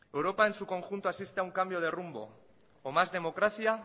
europa en su conjunto asiste a un cambio de rumbo o más democracia